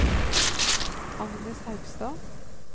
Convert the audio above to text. Agnes Haugstad